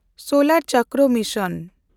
ᱥᱳᱞᱮᱱᱰᱪᱚᱠᱨᱚ mission